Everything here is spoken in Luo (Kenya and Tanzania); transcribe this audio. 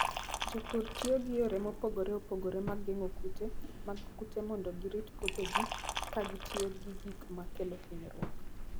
Jopur tiyo gi yore mopogore opogore mag geng'o kute mag kute mondo girit puothegi ka gitiyo gi gik makelo hinyruok.